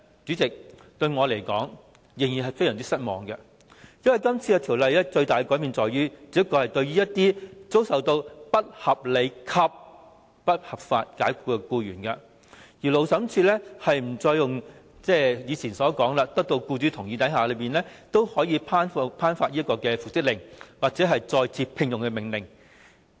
主席，我仍然感到非常失望，因為《條例草案》作出最大的改變，只是對於遭不合理及不合法解僱的僱員，勞資審裁處不再像以前要得到僱主同意，才能作出復職或再次聘用的命令。